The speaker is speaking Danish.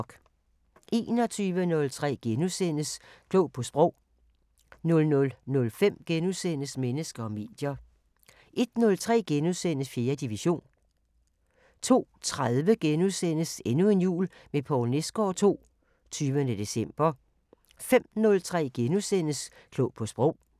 21:03: Klog på Sprog * 00:05: Mennesker og medier * 01:03: 4. division * 02:30: Endnu en jul med Poul Nesgaard II – 20. december * 05:03: Klog på Sprog *